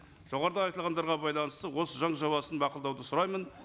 жоғарыда айтылғандарға байланысты осы заң жобасын мақұлдауды сұраймын